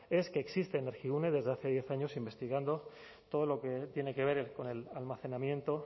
es que existe energigune desde hace diez años investigando todo lo que tiene que ver con el almacenamiento